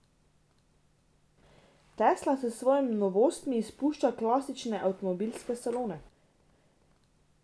Tesla s svojimi novostmi izpušča klasične avtomobilske salone.